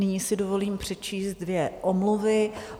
Nyní si dovolím přečíst dvě omluvy.